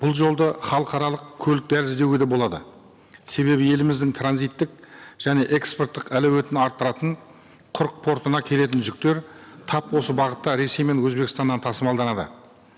бұл жолды халықаралық көлік дәлізі деуге де болады себебі еліміздің транзиттік және экспорттық әлеуетін арттыратын құрық портына келетін жүктер тап осы бағытта ресей мен өзбекстаннан тасымалданады